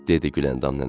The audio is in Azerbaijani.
Dedi Güləndam nənə.